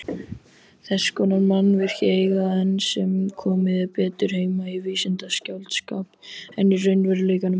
Þess konar mannvirki eiga enn sem komið er betur heima í vísindaskáldskap en í raunveruleikanum.